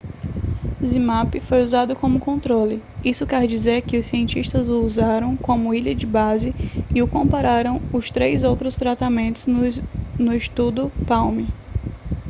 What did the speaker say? zmapp foi usado como controle isso quer dizer que os cientistas o usaram como linha de base e o compararam os três outros tratamentos no estudo palm